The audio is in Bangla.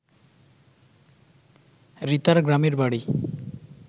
রিতার গ্রামের বাড়ি